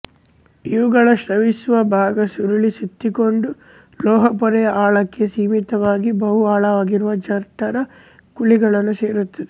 ಇವುಗಳ ಸ್ರವಿಸುವ ಭಾಗ ಸುರುಳಿ ಸುತ್ತಿಕೊಂಡು ಲೋಳೆಪೊರೆಯ ಆಳಕ್ಕೆ ಸೀಮಿತವಾಗಿ ಬಹು ಆಳವಾಗಿರುವ ಜಠರ ಕುಳಿಗಳನ್ನು ಸೇರುತ್ತವೆ